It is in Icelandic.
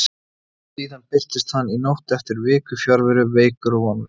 Síðan birtist hann í nótt eftir viku fjarveru, veikur og vonlaus.